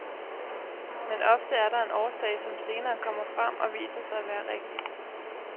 Men ofte er der en årsag, som senere kommer frem og viser sig at være rigtig.